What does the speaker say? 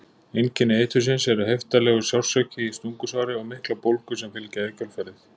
Einkenni eitursins eru heiftarlegur sársauki í stungusári og miklar bólgur sem fylgja í kjölfarið.